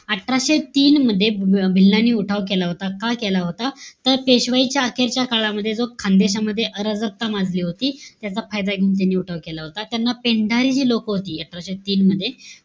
अठराशे तीन मध्ये, भी भिल्लांनी उठाव केला होता. का केला होता? तर, पेशवाईच्या अखेरच्या काळामध्ये जो खान्देशमधे अराजकता माजली होती. त्याचा फायदा घेऊन त्यांनी उठाव केला होता. त्यांना पेंढारे हे लोक होती, अठराशे तीन मध्ये.